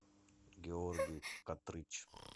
георгий отрыч